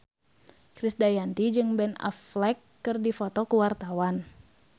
Krisdayanti jeung Ben Affleck keur dipoto ku wartawan